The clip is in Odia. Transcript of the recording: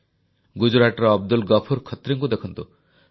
ଗୁଜରାଟର ଅବଦୁଲ ଗଫୁର ଖତ୍ରୀଙ୍କୁ ଦେଖନ୍ତୁ